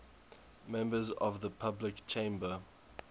members of the public chamber